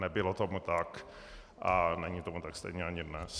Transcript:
Nebylo tomu tak a není tomu tak stejně ani dnes.